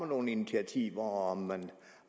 nogen initiativer og